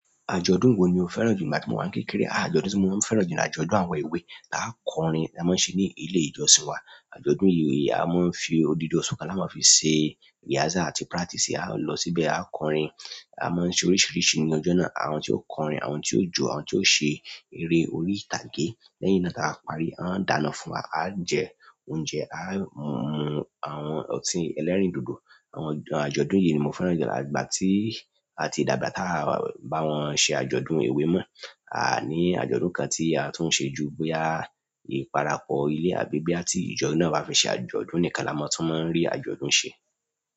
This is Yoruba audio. Àjọ̀dún wo ni o fẹ́ràn jù nígbà tí mo wà ní kékeré? Àjọ̀dún tí mo máa ń fẹ́ràn jù ni àjọ̀dún àwọn èwe. Taá kọrin, táa máa ń ṣe ní ilé ìjọsìn wa. Àjọ̀dún yìí a máa ń fi odidi oṣù kan la máa ń fi ṣe rehearsal àti practice. A ó lọ síbẹ̀, a ó kọrin, a máa ń ṣe oríṣìíríṣìí ní ọjọ́ náà. Àwọn tí ó kọrin, àwọn tí ó jó, àwọn tí ó ṣe eré orí ìtàgé. Lẹ́yìn náà táa bá parí, wọ́n ò dáná fún wa, aá jẹ oúnjẹ, aá máa mu àwọn ọtí el ẹlẹ́rìndòdò. Àwọn àjọ̀dún yìí ni mo fẹ́ràn jù. Àtìgbà tí a ti dàgbà táà bá wọ́n ṣe àjọ̀dún èwe mọ́. Aà ní àjọ̀dún kan tí a tún ń ṣe ju bóyá ìparapọ ilé àbí bí àti ìjọ náà bá fẹ́ ṣe àjọ̀dún nìkan la máa tún máa ń rí àjọ̀dún ṣe.